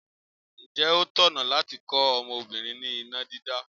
Ǹjẹ́ ó tọ̀nà láti kọ́ ọmọbìnrin ní iná dídá?